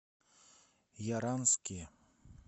яранске